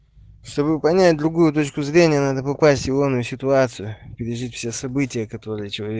чтобы понять другую точку зрения надо попасть в ионную ситуацию пережить все события которые челове